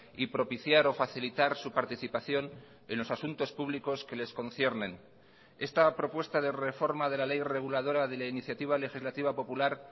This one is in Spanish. y propiciar o facilitar su participación en los asuntos públicos que les conciernen esta propuesta de reforma de la ley reguladora de la iniciativa legislativa popular